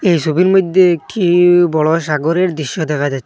এই সবির মইদ্যে একটি বড় সাগরের দৃশ্য দেখা যা--